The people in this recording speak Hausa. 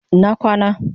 Ina kwana